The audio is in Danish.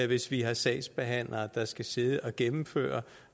hvis vi har sagsbehandlere der skal sidde og gennemføre